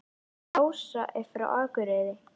Ása er frá Akureyri.